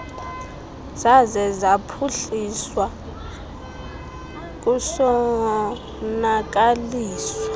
zaze zaphuhliswa kusonakaliswa